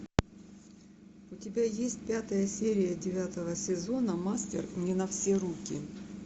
у тебя есть пятая серия девятого сезона мастер не на все руки